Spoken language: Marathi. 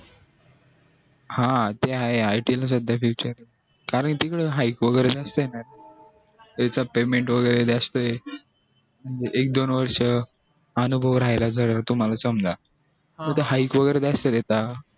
हा ते आहे it ला ये आता सध्या future कारण तिकडे वैगेरे जास्त ये ना सध्या सध्या वैगेरे जास्त ये एक दोन वर्ष अनुभव राहिला तुम्हला समजा त वैगेरे जास्त देतात